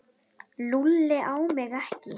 Lúlli á mig ekki.